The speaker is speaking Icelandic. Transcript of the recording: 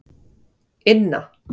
Inna